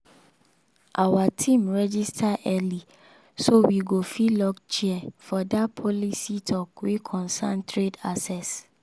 our team register early so we go fit lock chair for that policy talk wey concern trade access.